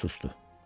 O susdu.